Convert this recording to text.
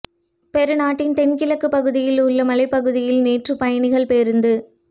பெரு நாட்டின் தென்கிழக்கு பகுதியில் உள்ள மலைப்பகுதியில் நேற்று பயணிகள் பேருந்து